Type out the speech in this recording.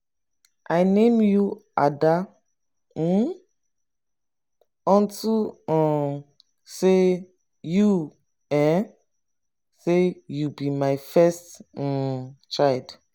i name you ada um unto um say you um say you be my first um child.